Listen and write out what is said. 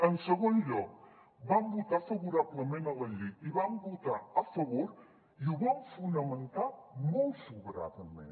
en segon lloc van votar favorablement a la llei i hi van votar a favor i ho van fonamentar molt sobradament